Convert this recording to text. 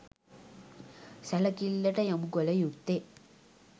සැලකිල්ලට යොමුකළ යුත්තේ